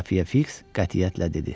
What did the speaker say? Xəfiyə Fiks qətiyyətlə dedi: